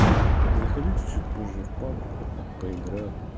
заходите чуть чуть позже в пабг поиграем